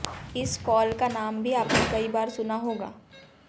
इस फॉल का नाम भी आपने कई बार सुना होगा